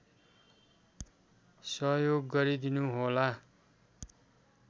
सहयोग गरिदिनुहोला